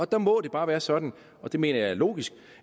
der må det bare være sådan og det mener jeg er logisk